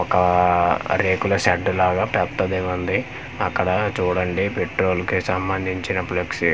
ఒకా రేకుల షెడ్ లాగా పెద్దదేవుంది అక్కడ చూడండి పెట్రోల్ కి సంబంధించిన ఫ్లెక్సీ గొర్రె--